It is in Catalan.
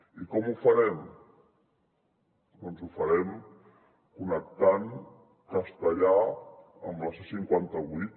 i com ho farem doncs ho farem connectant castellar amb la c cinquanta vuit